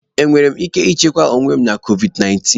Enwere m ike ichekwa onwe m na COVID 19?